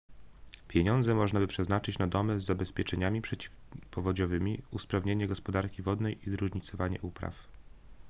pieniądze można by przeznaczyć na domy z zabezpieczeniami przeciwpowodziowymi usprawnienie gospodarki wodnej i zróżnicowanie upraw